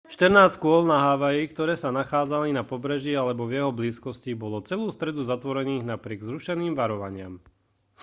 štrnásť škôl na havaji ktoré sa nachádzali na pobreží alebo v jeho blízkosti bolo celú stredu zatvorených napriek zrušeným varovaniam